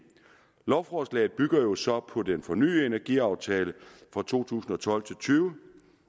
lovforslaget bygger jo så på den fornyede energiaftale for to tusind og tolv til tyve